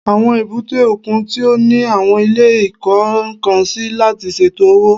Àwọn èbúté òkun tí ó ní àwọn ilé ìkó-nǹkan-sí láti ṣètò òwò